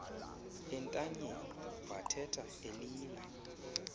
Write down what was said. entanyeni vathetha elila